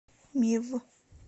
мив